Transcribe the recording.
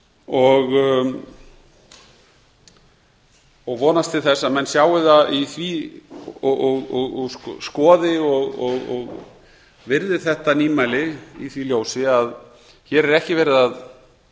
og vonast til þess að menn sjái það í því og skoði og virði þetta nýmæli í því ljósi að hér er ekki verið að